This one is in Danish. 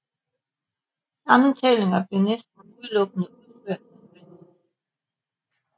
Sammentællinger blev næsten udelukkende udført manuelt